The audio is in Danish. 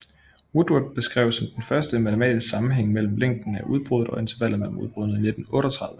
Woodward beskrev som den første en matematisk sammenhæng mellem længden af udbruddet og intervallet mellem udbruddene i 1938